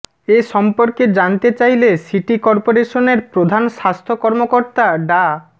এ সর্ম্পকে জানতে চাইলে সিটি করপোরেশনের প্রধান স্বাস্থ্য কর্মকর্তা ডা